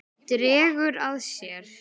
Dregur að sér.